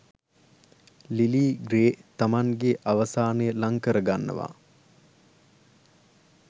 Lily Grey තමන්ගේ අවසානය ලං කරගන්නවා